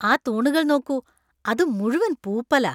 ആ തൂണുകൾ നോക്കൂ. അത് മുഴുവൻ പൂപ്പലാ.